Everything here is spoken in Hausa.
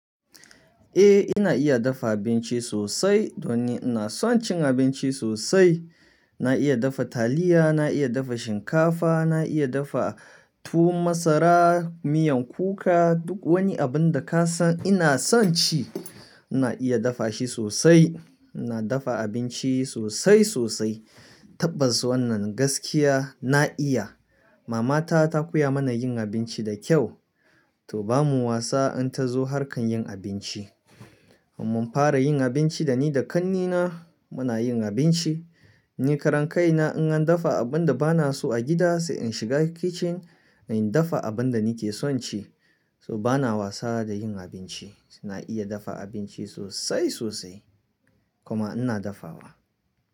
Eh, ina iya dafa abinci sosai don ina son cin abinci sosai. Na iya dafa taliya, na iya dafa shinkafa, na iya dafa tu masara, miyan kuka duk wani abun da ka san ina son ci ina iya dafa shi sosai. Ina dafa abinci sosai sosai. Tabbas wannan gaskiya na iya. Mama ta ta koya mana yin abinci da kyau, to bamu wasa in ta zo har kan yin abinci. Amma fara yin abinci da ni da ƙannena muna yin abinci. Ni karen kai na in an dafa abun da ba na so a gida sai in shiga kicin in dafa abun da ni ke son ci. To bana wasa da yin abinci. Na iya dafa abinci sosai sosai kuma ina dafawa.